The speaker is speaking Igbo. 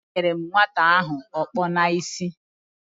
Enyere m nwata ahụ aka n’isi